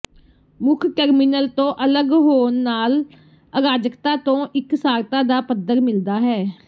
ਮੁੱਖ ਟਰਮੀਨਲ ਤੋਂ ਅਲਗ ਹੋਣ ਨਾਲ ਅਰਾਜਕਤਾ ਤੋਂ ਇਕਸਾਰਤਾ ਦਾ ਪੱਧਰ ਮਿਲਦਾ ਹੈ